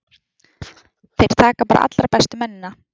Þeir taka bara allra bestu mennina.